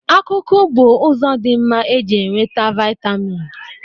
Akụkụ bụ ụzọ dị mma e ji enweta vịatamịn